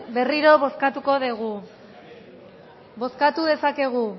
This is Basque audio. berriro bozkatuko dugu bozkatu dezakegu